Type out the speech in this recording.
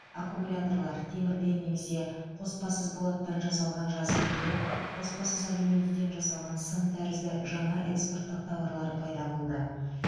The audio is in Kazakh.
аккумуляторлар темірден немесе қоспасыз болаттан жасалған жазық илем қоспасыз алюминийден жасалған сым тәрізді жаңа экспорттық тауарлар пайда болды